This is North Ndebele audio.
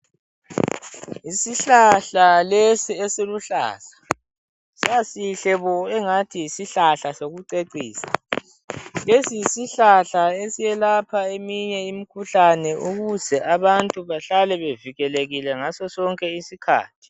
Isihlahla lesi esiluhlaza sasihle bo !!!, engathi yisihlahla sokucecisa, lesi yisihlahla esiyelapha eminye imikhuhlane ukuze abantu bahlale bevikelekile ngaso sonke isikhathi